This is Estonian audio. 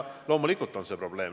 Loomulikult on see probleem.